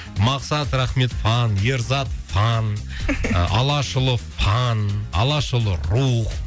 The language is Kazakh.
мақсат рахмет фан ерзат фан алашұлы фан алашұлы рух